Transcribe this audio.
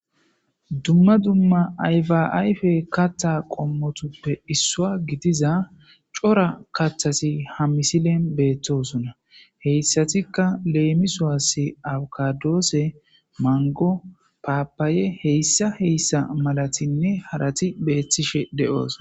Dumma dumma ayfa ayfe katta qommotuppe issua gidiza cora kathasi ha misilen beettosona heyssatikka leemisoasse awkadoose mango paapaye heyssa heyssa malatinne harati beettishe de'sona.